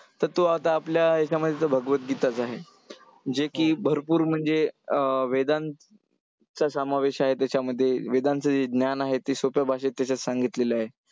तर तो आता आपल्या हेच्यामध्ये तर भगवतगीताच आहे, जे की भरपूर म्हणजे वेदांचा समावेश आहे त्याच्यामध्ये वेदांचं जे ज्ञान आहे, ते सोप्या भाषेत तेच्यात सांगितलेलं आहे.